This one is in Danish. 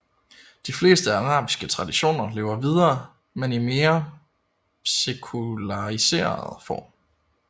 De fleste arabiske traditioner lever videre men i en mere sekulariseret form